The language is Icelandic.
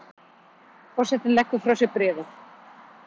Forsetinn leggur frá sér bréfið.